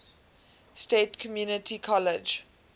state community college